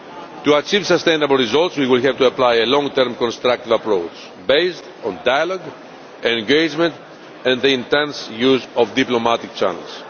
To achieve sustainable results, we will have to apply a long term constructive approach based on dialogue and engagement and the intense use of diplomatic channels.